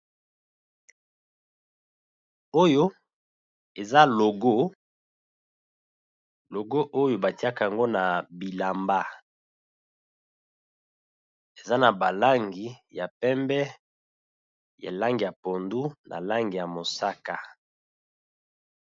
Oyo eza logo, logo oyo batiaka yango na bilamba eza na ba langi ya pembe ya langi ya pondu na langi ya mosaka.